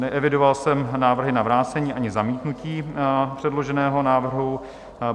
Neevidoval jsem návrhy na vrácení ani zamítnutí předloženého návrhu.